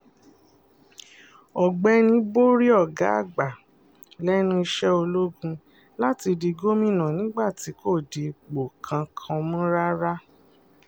ọ̀gbẹ́ni borí ọ̀gá àgbà lẹ́nu iṣẹ́ ológun láti di gómìnà nígbà tí kò di ipò kankan mú rárá